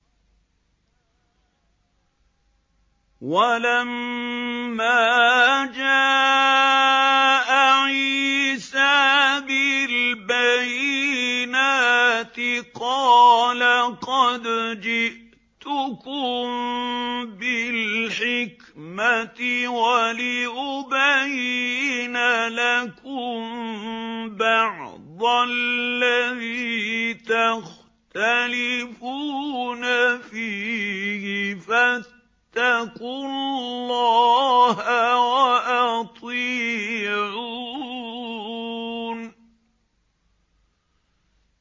وَلَمَّا جَاءَ عِيسَىٰ بِالْبَيِّنَاتِ قَالَ قَدْ جِئْتُكُم بِالْحِكْمَةِ وَلِأُبَيِّنَ لَكُم بَعْضَ الَّذِي تَخْتَلِفُونَ فِيهِ ۖ فَاتَّقُوا اللَّهَ وَأَطِيعُونِ